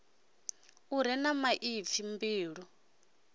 u re na ipfi mbilu